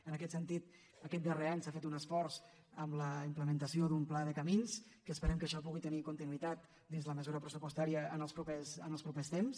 en aquest sentit aquest darrer any s’ha fet un esforç amb la implementació d’un pla de camins que esperem que això pugui tenir continuïtat dins la mesura pressupostària en els propers temps